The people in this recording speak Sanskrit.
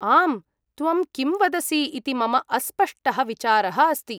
आम्, त्वं किं वदसि इति मम अस्पष्टः विचारः अस्ति।